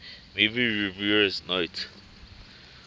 movie reviewers note